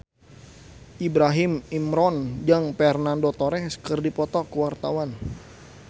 Ibrahim Imran jeung Fernando Torres keur dipoto ku wartawan